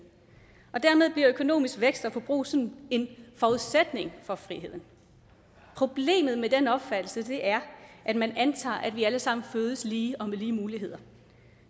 og dermed bliver økonomisk vækst og forbrug sådan en forudsætning for friheden problemet med den opfattelse er at man antager at vi alle sammen fødes lige og med lige muligheder